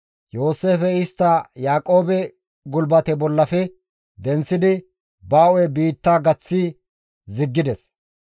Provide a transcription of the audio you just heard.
Yooseefey istta Yaaqoobe gulbate bollafe denththidi ba hu7e biitta gaththi ziggides.